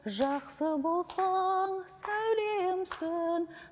жақсы болсаң сәулемсің